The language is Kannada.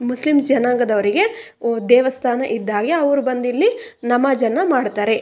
ಮುಸ್ಲಿಂ ಜನಾಂಗದವರಿಗೆ ದೇವಸ್ಥಾನ ಇದ್ದ ಹಾಗೆ ಅವರು ಬಂದ ಇಲ್ಲಿ ನಮಾಝನ್ನು ಮಾಡ್ತಾರೆ.